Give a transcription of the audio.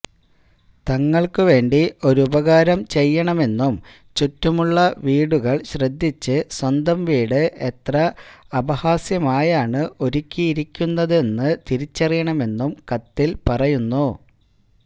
തങ്ങൾക്ക് വേണ്ടി ഒരുപകാരം ചെയ്യണമെന്നും ചുറ്റുമുള്ള വീടുകൾ ശ്രദ്ധിച്ച് സ്വന്തം വീട് എത്ര അപഹാസ്യമായാണ് ഒരുക്കിയിരിക്കുന്നതെന്ന് തിരിച്ചറിയണമെന്നും കത്തിൽ പറയുന്നു